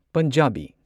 Punjabi